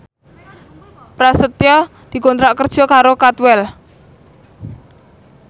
Prasetyo dikontrak kerja karo Cadwell